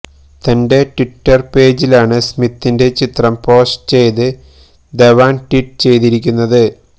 തന്റെ ട്വിറ്റര് പേജിലാണ് സ്മിത്തിന്റെ ചിത്രം പോസ്റ്റ് ചെയ്ത് ധവാന് ട്വീറ്റ് ചെയ്തിരിക്കുന്നത്